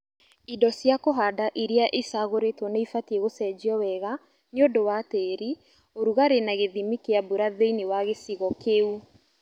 Indo cia kũhanda iria icagũrĩtwo nĩibatie gũcenjio wega nĩ ũndũ wa tĩri, ũrugarĩ na gĩthimi kĩa mbura thĩinĩ wa gĩcigo kĩu